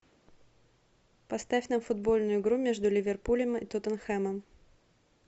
поставь нам футбольную игру между ливерпулем и тоттенхэмом